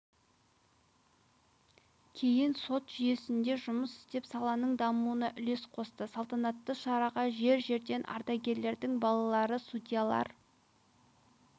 кейін сот жүйесінде жұмыс істеп саланың дамуына үлес қосты саланатты шараға жер-жерден ардагерлердің балалары судьялар